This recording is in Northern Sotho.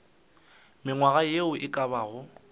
mengwaga ye e ka bago